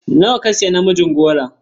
Nawa ka siya namijin goron?